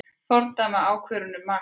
Fordæma ákvörðun um makríl